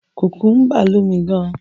Kùkúḿbà lómi gan.